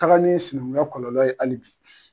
Taaga ni simiya kɔlɔlɔ ye hali bi.